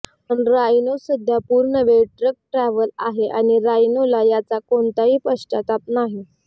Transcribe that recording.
पण राइनो सध्या पूर्णवेळ ट्रक ड्राव्हर आहे आणि राइनोला याचा कोणताही पश्चाताप नाही